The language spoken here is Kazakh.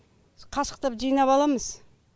қасықтап жинап аламыз